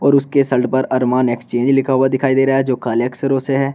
उसके शर्ट पर Armani Exchange लिखा हुआ दिखाई दे रहा है जो काले अक्षरों से है।